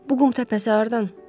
Bu qum təpəsi hardan?